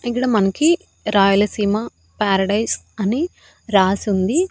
ఇక్కడ మనకి రాయలసీమ పారడైజ్ అని రాసి ఉంది.